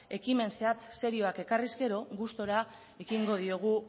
ekimen zehatz serioak ekarriz gero gustura ekingo diogu